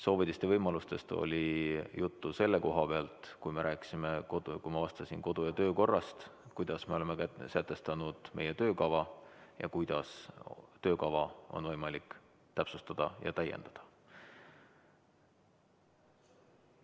Soovidest ja võimalustest oli juttu selle koha pealt, kui me rääkisime kodu- ja töökorrast, kuidas me oleme sätestanud meie töökava ja kuidas töökava on võimalik täpsustada ja täiendada.